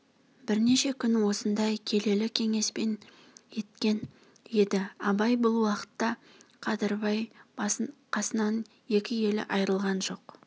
бірнеше күн осындай келелі кеңеспен еткен еді абай бұл уақытта қадырбай қасынан екі елі айрылған жоқ